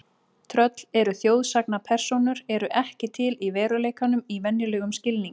Tröll eru þjóðsagnapersónur eru ekki til í veruleikanum í venjulegum skilningi.